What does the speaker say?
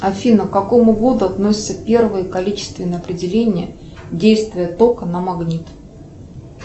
афина к какому году относится первое количественное определение действия тока на магнит